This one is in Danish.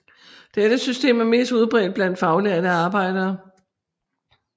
Dette system er mest udbredt blandt faglærte arbejdere